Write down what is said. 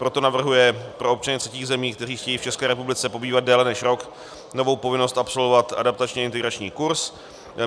Proto navrhuje pro občany třetích zemí, kteří chtějí v České republice pobývat déle než rok, novou povinnost absolvovat adaptační integrační kurs.